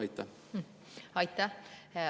Aitäh!